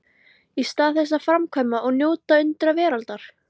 Í stað þess að framkvæma og njóta undra veraldar?